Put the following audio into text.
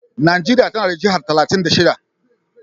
Najeriya tana da jihar talatin da shida.